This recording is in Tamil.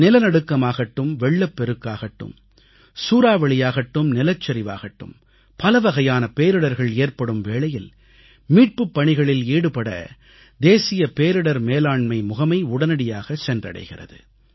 நிலநடுக்கமாகட்டும் வெள்ளப்பெருக்காகட்டும் சூறாவளியாகட்டும் நிலச்சரிவாகட்டும் பலவகையான பேரிடர்கள் ஏற்படும் வேளையில் மீட்புப் பணிகளில் ஈடுபட தேசிய பேரிடர் மேலாண்மை முகமை உடனடியாக சென்றடைகிறது